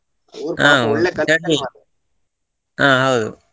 ಹಾ ಹೌದು.